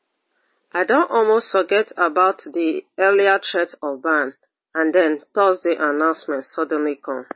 i don almost forget about di earlier threat of ban and den thursday announcement suddenly come